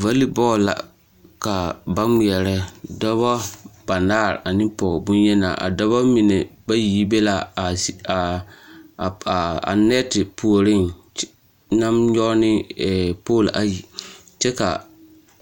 Vali bɔɔl la ka ba ŋmeɛrɛ dɔbɔ banaare ane pɔge bonyenaa a dɔbɔ mine bayi yi te be laa a nɛte puoreŋ naŋ nyɔg ne pool ayi kyɛ kaa